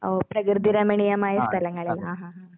ഓ പ്രകൃതിരമണീയമായ സ്ഥലങ്ങളിൽ ആഹാ ഹാ ഹാ.